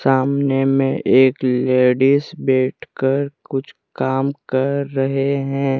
सामने में एक लेडिस बैठकर कुछ काम कर रहे हैं।